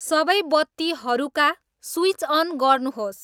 सबै बत्तीहरूका switch on गर्नुहोस्